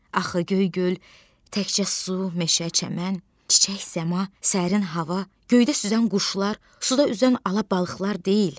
Axı Göygöl təkcə su, meşə, çəmən, çiçək, səma, sərin hava, göydə sürən quşlar, suda üzən ala balıqlar deyil.